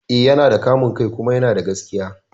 Eh, yana da kamun kai kuma yana da gaskiya